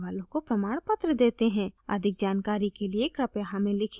अधिक जानकारी के लिए कृपया हमें लिखें